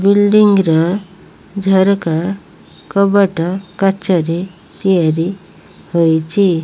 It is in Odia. ବିଲ୍ଡିଙ୍ଗ୍ ର ଝରକା କବାଟ କାଚରେ ତିଆରି ହୋଇଛି।